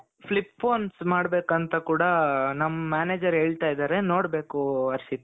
flip phones ಮಾಡ್ಬೇಕು ಅಂತ ಕೂಡಾ ನಮ್ manager ಹೇಳ್ತಾ ಇದ್ದಾರೆ ನೋಡ್ಬೇಕು ಹರ್ಷಿತ್.